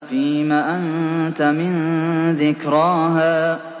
فِيمَ أَنتَ مِن ذِكْرَاهَا